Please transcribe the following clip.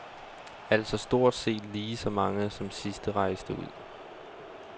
Altså stort set lige så mange som rejste ud.